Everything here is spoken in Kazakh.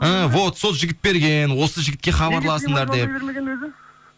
ііі вот сол жігіт берген осы жігітке хабарласыңдар деп